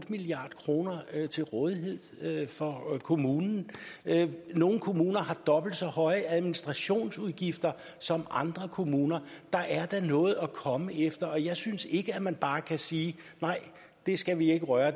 milliard kroner til rådighed for kommunerne nogle kommuner har dobbelt så høje administrationsudgifter som andre kommuner der er da noget at komme efter og jeg synes ikke at man bare kan sige nej det skal vi ikke røre